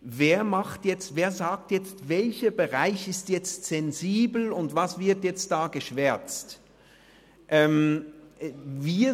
Wer macht beziehungsweise wer sagt, welcher Bereich sensibel ist und was geschwärzt wird?